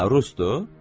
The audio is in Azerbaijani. Hə, Rusdur?